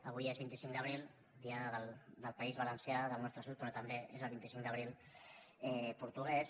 avui és vint cinc d’abril dia del país valencià del nostre sud però també és el vint cinc d’abril portuguès